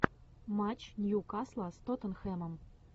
матч ньюкасла с тоттенхэмом